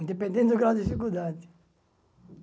Independente do grau de dificuldade.